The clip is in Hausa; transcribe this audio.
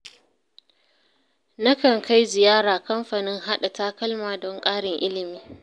Na kan kai ziyara kamfanin haɗa takalma don ƙarin ilimi.